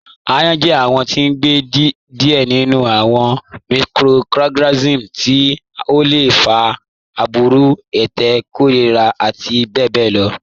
Ayán jẹ awọn tí n gbẹ díẹ̀ nínú awọn microorganisms tí ó lẹ fà gbúrù, ẹtẹ̀, kọ̀lẹ̀rà àti bẹbẹ̀ lọ